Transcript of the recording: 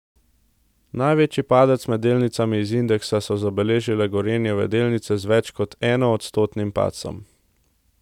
Največji padec med delnicami iz indeksa so zabeležile Gorenjeve delnice z več kot enoodstotnim padcem.